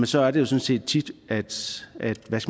sådan set tit